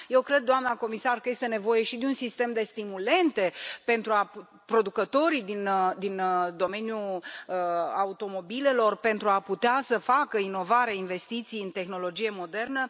Eu cred, doamna comisar, că este nevoie și de un sistem de stimulente pentru producătorii din domeniul automobilelor pentru a putea să facă inovare, investiții în tehnologie modernă.